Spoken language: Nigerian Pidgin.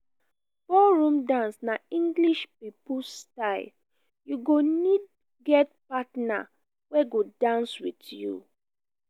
ballroom dance na english pipo style you go need get partner wey go dance with you